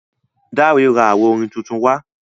Dare rà awo orin títún wá.